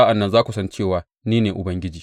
Sa’an nan za ku san cewa ni ne Ubangiji.